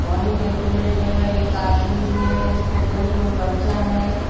वही डेकोरेट जगह एक आदमी भी है उसके गोद में बच्चा है।